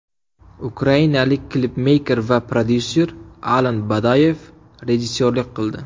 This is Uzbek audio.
Ukrainalik klipmeyker va prodyuser Alan Badoyev rejissyorlik qildi.